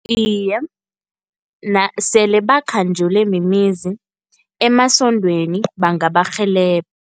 Iye, sele bakhanjelwe mimizi, emasondweni bangabarhelebha.